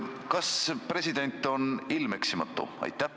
Kas president on ilmeksimatu?